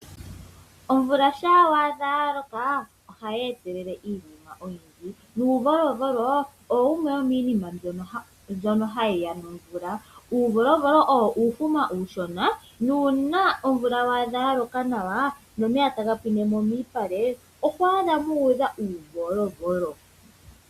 Omvula shampa ya loko ohayi etelele iinima oyindji. Uuvolovolo owo wumwe womiinima mbyoka hayi ya nomvula. Uuvolovolo owo uufuma uushona. Uuna omvula wa adha yaloka nawa nomeya taga pwine mo miipale oho adha muudha uuvolovolo.